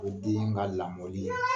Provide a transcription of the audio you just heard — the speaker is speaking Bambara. O den ka lamɔli